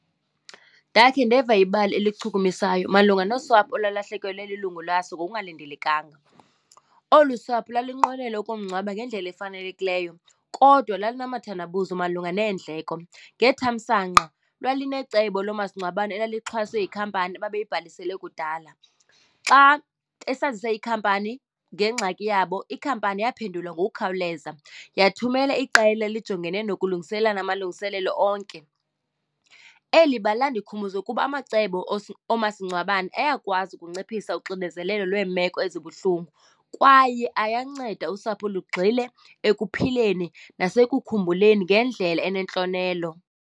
Ndakhe ndeva ibali elichukumisayo malunga nosapho olwalahlekelwa lilungu laso ngokungalindelekanga. Olu sapho lalinqwenela ukumngcwaba ngendlela efanelekileyo kodwa lalinamathandabuzo malunga neendleko, ngethamsanqa lwalinecebo loo masingcwabane elixhaswe yikhampani babeyibhalisele kudala. Xa esazisa ikhampani ngengxaki yabo, ikhampani yaphendula ngokukhawuleza yathumela iqela elijongene nokulungiselela amalungiselelo onke. Eli bali landikhumbuza ukuba amacebo oomasingcwabane ayakwazi ukunciphisa uxinezelelo lweemeko ezibuhlungu kwaye ayanceda usapho lugxile ekuphileni nasekukhumbuleni ngendlela enentlonelo.